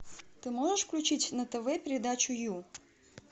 ты можешь включить на тв передачу ю